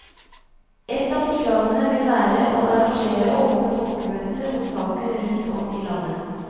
Ett av forslagene vil være å arrangere åpne folkemøter om saken rundt om i landet.